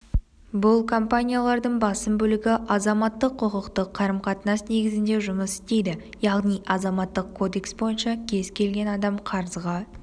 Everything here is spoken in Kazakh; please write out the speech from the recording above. -бұл компаниялардың басым бөлігі азаматтық-құқықтық қарым-қатынас негізінде жұмыс істейді яғни азаматтық кодекс бойынша кез-келген адам қарызға